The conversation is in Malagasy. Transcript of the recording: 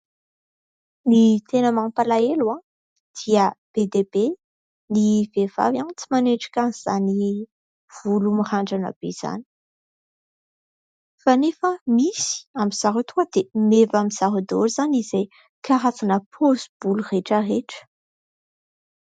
ny tena mampalahelo dia be dia be ny vehivavy tsy manendrika an'izany volo mirandrana be izany kanefa misy amin'izao tonga dia meva amin'ny zareo daholo izany izay karazana paozim-bolo rehetra rehetra